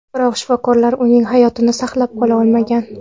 Biroq shifokorlar uning hayotini saqlab qola olmagan.